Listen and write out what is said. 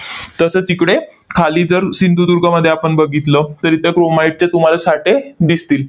तसेच तिकडे खाली जर सिंधुदुर्गमध्ये आपण बघितलं, तर इथं chromite चे तुम्हांला साठे दिसतील.